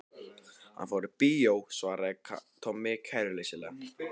Hann fór í bíó svaraði Tommi kæruleysislega.